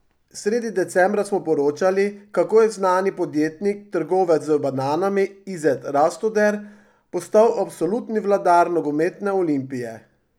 Sredi decembra smo poročali, kako je znani podjetnik, trgovec z bananami Izet Rastoder, postal absolutni vladar nogometne Olimpije.